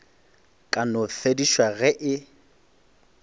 ka no fedišwa ge e